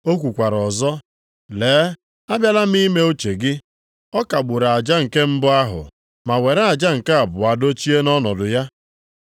O kwukwara ọzọ, “Lee abịala m ime uche gị.” Ọ kagburu aja nke mbụ ahụ ma were aja nke abụọ dochie nʼọnọdụ ya.